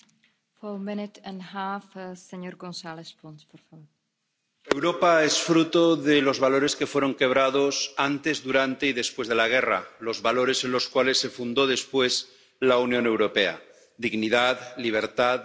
Señora presidenta, Europa es fruto de los valores que fueron quebrados antes, durante y después de la guerra, los valores en los cuales se fundó después la Unión Europea dignidad, libertad, democracia, derechos humanos